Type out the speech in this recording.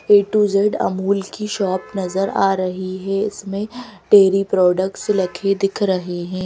A to Z Amul की shop नजर आ रही है इसमें डेरी प्रोडक्ट्स लिखे दिख रहे हैं।